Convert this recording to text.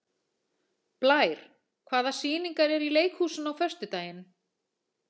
Blær, hvaða sýningar eru í leikhúsinu á föstudaginn?